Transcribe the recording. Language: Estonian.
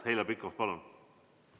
Heljo Pikhof, palun!